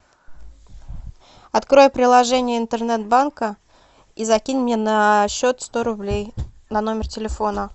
открой приложение интернет банка и закинь мне на счет сто рублей на номер телефона